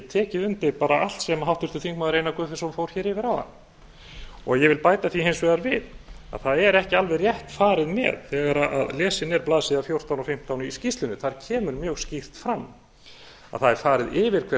tekið undir bara allt sem háttvirtur þingmaður einar guðfinnsson fór hér yfir áðan ég vil bæta því hins vegar við að það er ekki alveg rétt farið með þegar lesin er blaðsíða fjórtán og fimmtán í skýrslunni þar kemur mjög skýrt fram að það er farið yfir hver